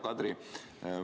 Hea Kadri!